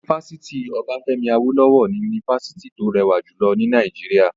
Yunifásítì Obafemi Awolowo ni yunifásítì tó rẹwà jùlọ ní Nàìjíríà.